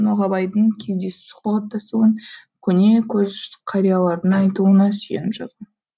ноғабайдың кездесіп сұхбаттасуын көне көз қариялардың айтуына сүйеніп жазған